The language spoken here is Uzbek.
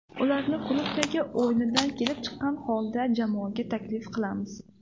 Ularni klubdagi o‘yinidan kelib chiqqan holda jamoaga taklif qilamiz.